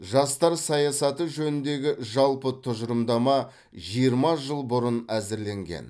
жастар саясаты жөніндегі жалпы тұжырымдама жиырма жыл бұрын әзірленген